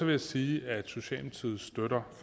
jeg sige at socialdemokratiet støtter